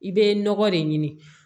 I bɛ nɔgɔ de ɲini